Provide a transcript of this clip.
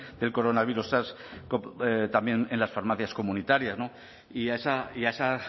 del coronavirus sars cov también en las farmacias comunitarias no y a esa y a esa